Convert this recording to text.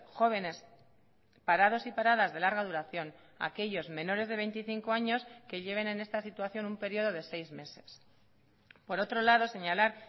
jóvenes parados y paradas de larga duración aquellos menores de veinticinco años que lleven en esta situación un periodo de seis meses por otro lado señalar